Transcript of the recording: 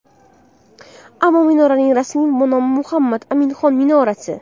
Ammo minoraning rasmiy nomi Muhammad Aminxon minorasi.